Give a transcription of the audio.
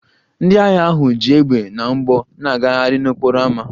Ndị agha ahụ ji égbè na mgbọ na-agagharị n'okporo ámá